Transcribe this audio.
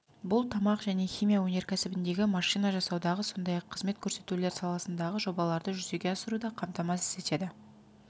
бұл тамақ және химия өнеркәсібіндегі машина жасаудағы сондай-ақ қызмет көрсетулер саласындағы жобаларды жүзеге асыруды қамтамасыз етеді